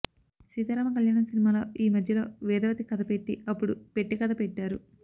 సీతారామకళ్యాణం సినిమాలో యీ మధ్యలో వేదవతి కథ పెట్టి అప్పుడు పెట్టె కథ పెట్టారు